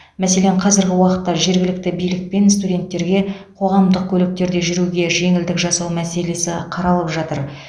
мәселен қазіргі уақытта жергілікті билікпен студенттерге қоғамдық көліктерде жүруге жеңілдік жасау мәселесі қаралып жатыр